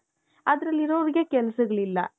ಅದರಲ್ಲಿ ಇರೋರಿಗೆ ಕೆಲಸಗಳಿಲ್ಲಾ.